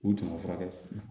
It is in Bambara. U tama furakɛ